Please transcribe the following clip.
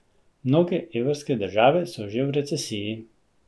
Mnoge evrske države so že v recesiji.